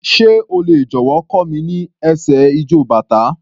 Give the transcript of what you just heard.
Sé o lè jọ̀wọ́ kọ́ mi ní ẹsẹ̀ ijó bàtá?